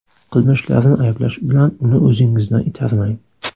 Qilmishlarini ayblash bilan uni o‘zingizdan itarmang.